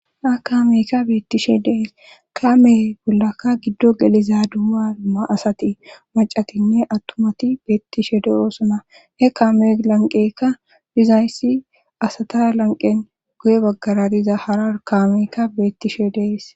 Akaameyka beettishe dees kaame bollaka giddo geliza duama asati macatinne attumati beettishe de'oosona he kame lanqekka dizayssi asata lanqen goye baggara diza hara kamekka beettishe dees